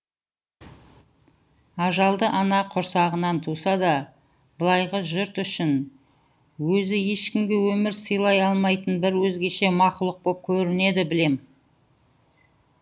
ажалды ана құрсағынан туса да былайғы жұрт үшін өзі ешкімге өмір сыйлай алмайтын бір өзгеше мақұлық боп көрінеді білем